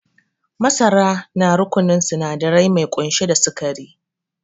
Masara na rukununin sinadari mai kunshe da sikari